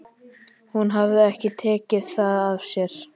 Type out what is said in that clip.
Hún hafði ekki tekið það af sér.